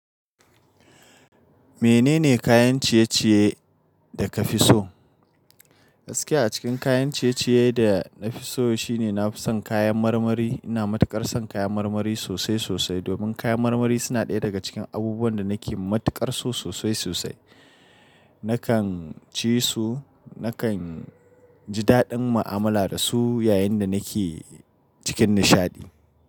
Menene kayan ciye-ciye da ka fi so? Gaskiya a cikin kayan ciye-ciye da na fi so shine na fi son kayan marmari. Ina matuƙar son kayan marmari sosai sosai domin kayan marmari suna ɗaya daga cikin abubuwan da nake matuƙar so sosai sosai. Nakan ci su, nakan ji daɗin mu'amala da su yayin da nake cikin nishaɗi.